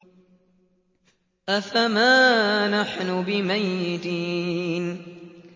أَفَمَا نَحْنُ بِمَيِّتِينَ